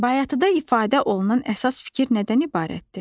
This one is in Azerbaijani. Bayatıda ifadə olunan əsas fikir nədən ibarətdir?